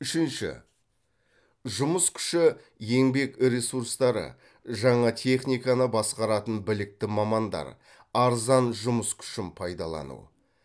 үшінші жұмыс күші еңбек ресурстары жаңа техниканы басқаратын білікті мамандар арзан жұмыс күшін пайдалану